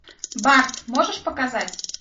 барс можешь показать